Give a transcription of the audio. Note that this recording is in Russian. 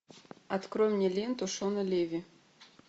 открой мне ленту шона леви